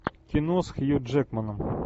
кино с хью джекманом